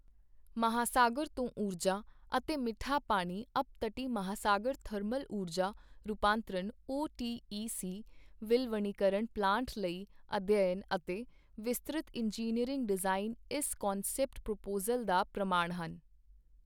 ਮਹਾਸਾਗਰ ਤੋਂ ਊਰਜਾ ਅਤੇ ਮਿੱਠਾ ਪਾਣੀ ਅਪਤਟੀ ਮਹਾਸਾਗਰ ਥਰਮਲ ਊਰਜਾ ਰੂਪਾਂਤਰਣ ਓਟੀਈਸੀ ਵਿਲਵਣੀਕਰਣ ਪਲਾਂਟ ਲਈ ਅਧਿਐਨ ਅਤੇ ਵਿਸਤ੍ਰਿਤ ਇੰਜੀਨੀਅਰਿੰਗ ਡਿਜ਼ਾਈਨ ਇਸ ਕੰਸੈਪਟ ਪ੍ਰਪੋਜ਼ਲ ਦਾ ਪ੍ਰਮਾਣ ਹਨ।